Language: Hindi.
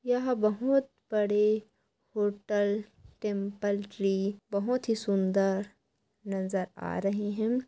ये बहुत बड़े होटल टेम्पल ट्री बहुत ही सुंदर नजर आ रहे है।